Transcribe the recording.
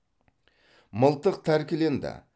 мылтық тәркіленді